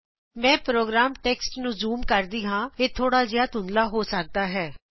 ਮੈਂ program text ਨੂੰ zoom ਕਰਦੀ ਹਾਂ ਇਹ ਥੋੜਾ ਧੂਧਲਾ ਹੋ ਸਕਦਾ ਹੈ